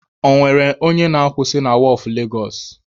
Ọ nwere onye na-akwusị na wọọfụ Legosụ?